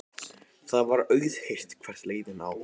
Það var auðheyrt hvert leiðin lá.